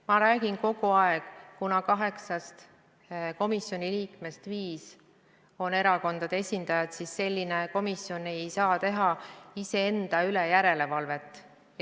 Ma räägin kogu aeg, kuna kaheksast komisjoni liikmest viis on erakondade esindajad, siis selline komisjon ei saa teha ise enda üle järelevalvet.